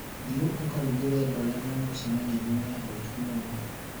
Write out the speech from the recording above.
thiĩ ũkarugĩre andũ arĩa marĩ mũcemanioinĩ, nĩ ahũtu mũno